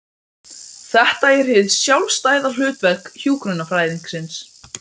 Þetta er hið sjálfstæða hlutverk hjúkrunarfræðingsins.